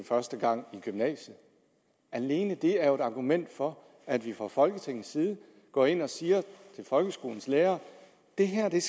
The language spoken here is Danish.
første gang i gymnasiet alene det er jo et argument for at vi fra folketingets side går ind og siger til folkeskolens lærere det her er